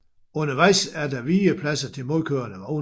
Undervejs er der vigepladser til modkørende vogne